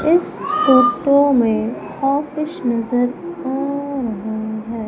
इस फोटो में ऑफिस नजर आ रहा है।